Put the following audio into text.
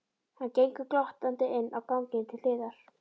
Hann gengur glottandi inn á ganginn til hliðar.